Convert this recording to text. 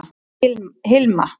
Hilma